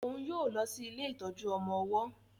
òún yóò lọ si ilé ìtọjú ọmọ ọwó.